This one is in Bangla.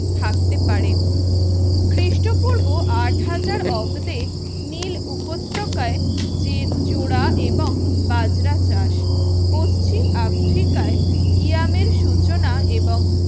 থাকতে পারে খ্রিস্টপূর্ব আট হাজার অব্দে নীল উপত্যকায় যে জোড়া এবং বাজরা চাষ পশ্চিম আফ্রিকায় ইয়ামের সূচনা এবং